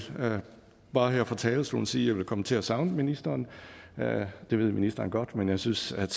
bare her fra talerstolen sige at jeg vil komme til at savne ministeren det ved ministeren godt men jeg synes at